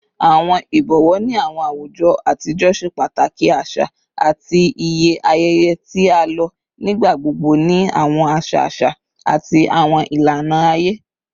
Awọn ibọwọ ni awọn awujọ atijọ ṣe pataki aṣa ati iye ayẹyẹ, ti a lo nigbagbogbo ni awọn aṣa aṣa ati awọn ilana aye